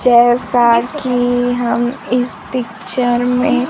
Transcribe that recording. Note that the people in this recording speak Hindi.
जैसा कि हम इस पिक्चर में--